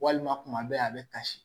Walima tuma bɛɛ a bɛ kasi